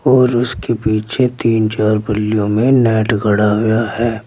और उसके पीछे तीन चार बलियों में नेट गढ़ा हुआ है।